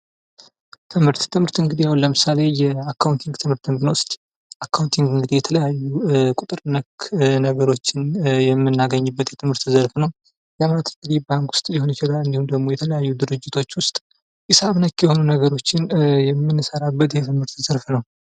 ትምህርት ትምህርት እንግዲህ ለምሳሌ የአካውንቲንግ ትምህርት ብንወስድ ውስጥ አካውንቲንግ የተለያዩ ቁጥር ነክ ነገሮችን የምናገኝበት የትምህርት ዘርፍ ነው። ባንክ ውስጥ ሊሆን ይችላል፤ እንዲሁም ደግሞ የተለያዩ ድርጅቶች ውስጥ ሒሳብ ነክ የሆኑ ነገሮችን የምንሰራበት የትምህርት ዘርፍ ነው።